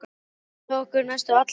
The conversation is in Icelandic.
Þeir fylgdu okkur næstum alla leið.